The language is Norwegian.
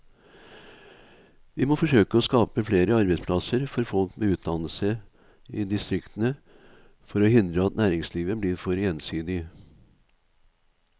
Vi må forsøke å skape flere arbeidsplasser for folk med utdannelse i distriktene for å hindre at næringslivet blir for ensidig.